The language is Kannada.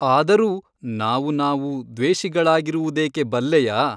ಆದರೂ ನಾವು ನಾವು ದ್ವೇಷಿಗಳಾಗಿರುವುದೇಕೆ ಬಲ್ಲೆಯಾ ?